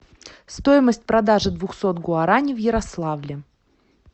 стоимость продажи двухсот гуарани в ярославле